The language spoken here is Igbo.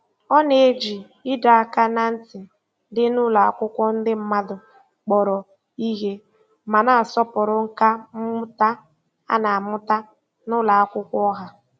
Ọ na-eji ịdọ aka ná ntị dị n'ụlọ akwụkwọ ndị mmadụ kpọrọ ihe, ma na-asọpụrụ nkà mmụta a na-amụta na ụlọ akwụkwọ ọha.